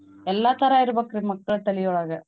ಎಲ್ಲಾ ತರಾ ಇರ್ಬಕ್ರೀ ಮಕ್ಕಳ್ ತಲಿ ಒಳಗ.